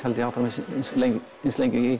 held ég áfram eins lengi eins lengi